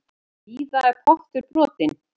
Víða er pottur brotinn.